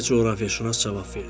Deyə coğrafiyaçünas cavab verdi.